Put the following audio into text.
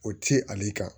O ti ale kan